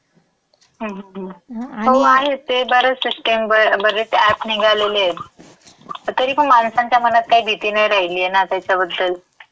हम्म, हम्म, हम्म, हम्म. हो आहेत, ते बरं सिस्टम, बरेच अॅप निघालेले ये. तरी पण माणसांच्या मनात काही भीती नई राहिली ये ना त्याच्याबद्दल. आणि